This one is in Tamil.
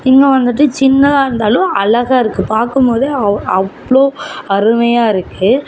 முன்ன வந்துட்டு சின்னதா இருந்தாலும் அழகா இருக்கு பாக்கும்போது அவ்ளோ அருமையாருக்கு.